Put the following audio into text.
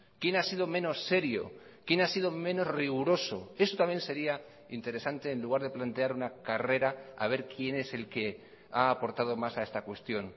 quién ha sido menos serio quién ha sido menos riguroso eso también sería interesante en lugar de plantear una carrera haber quién es el que ha aportado más a esta cuestión